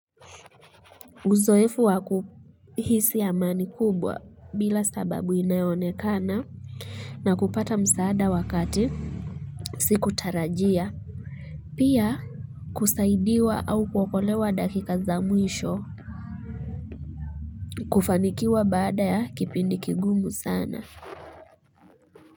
Uzoefu wakuhisi amani kubwa bila sababu inayonekana na kupata msaada wakati, siku tarajia, pia kusaidiwa au kuokolewa dakika za mwisho, kufanikiwa baada ya kipindi kigumu sana.